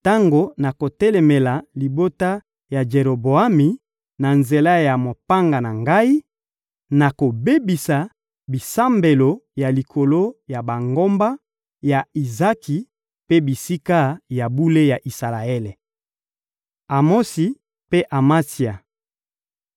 Tango nakotelemela libota ya Jeroboami na nzela ya mopanga na Ngai, nakobebisa bisambelo ya likolo ya bangomba ya Izaki mpe bisika ya bule ya Isalaele. Amosi mpe Amatsia